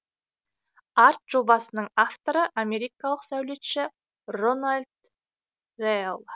арт жобасының авторы америкалық сәулетші рональд рэел